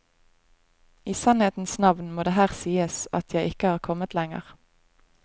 I sannhetenes navn må det her sies at jeg ikke har kommet lenger.